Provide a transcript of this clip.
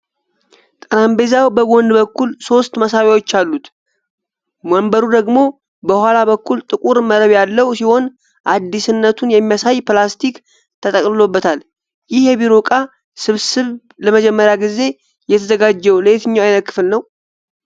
ጠረጴዛው በጎን በኩል ሶስት መሳቢያዎች አሉት፣ ወንበሩ ደግሞ ከኋላ በኩል ጥቁር መረብ ያለው ሲሆን አዲስነቱን የሚያሳይ ፕላስቲክ ተጠቅልሎበታል። ይህ የቢሮ ዕቃ ስብስብ ለመጀመሪያ ጊዜ የተዘጋጀው ለየትኛው ዓይነት ክፍል ነው?